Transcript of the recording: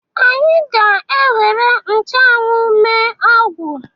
Anyị ga-ewere nchụanwụ mee ọgwụ